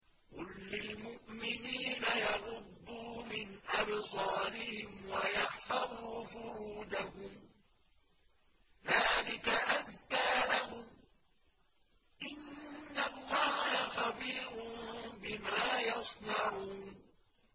قُل لِّلْمُؤْمِنِينَ يَغُضُّوا مِنْ أَبْصَارِهِمْ وَيَحْفَظُوا فُرُوجَهُمْ ۚ ذَٰلِكَ أَزْكَىٰ لَهُمْ ۗ إِنَّ اللَّهَ خَبِيرٌ بِمَا يَصْنَعُونَ